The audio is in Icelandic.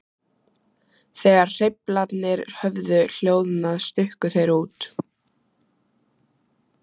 Þegar hreyflarnir höfðu hljóðnað stukku þeir út.